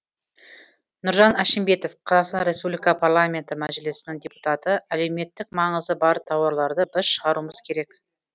нұржан әшімбетов қазақстан республикасы парламенті мәжілісінің депутаты әлеуметтік маңызы бар тауарларды біз шығаруымыз керек